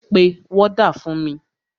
Pe wọ́dà fún mi!